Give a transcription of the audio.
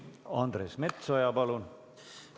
Andres Metsoja, palun!